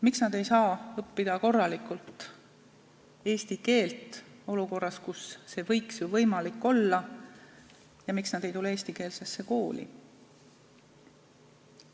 Miks nad ei saa õppida korralikult eesti keelt olukorras, kus see võiks ju võimalik olla, ja miks nad ei tule eestikeelsesse kooli?